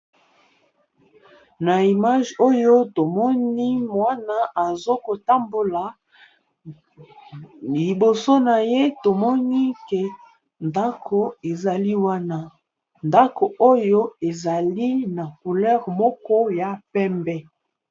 Na image oyo tomoni mwana azokotambola liboso na ye tomoni ke ndako ezali wana ndako oyo ezali na coulere moko ya pembe.